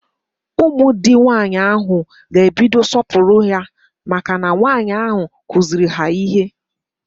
Ụmụ di nwaanyị ahụ ga ebido sọpuwara ya maka na nwaanyi ahụ kuziiri ha ihe